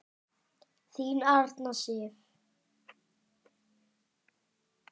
Þín Arna Sif.